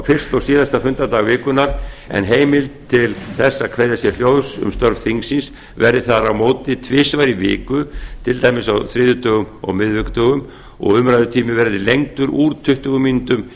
er fyrsta og síðasta fundadag vikunnar en heimild til þess að kveðja sér hljóðs undir liðnum um störf þingsins verði þar á móti tvisvar í viku t d á þriðjudögum og miðvikudögum og umræðutími verði lengdur úr tuttugu mínútum